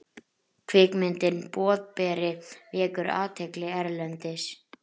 Kvikmyndin Boðberi vekur athygli erlendis